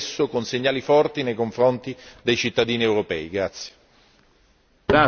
Gli Stati membri devono agire adesso con segnali forti nei confronti dei cittadini europei.